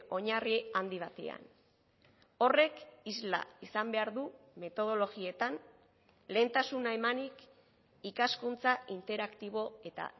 oinarri handi batean horrek isla izan behar du metodologietan lehentasuna emanik ikaskuntza interaktibo eta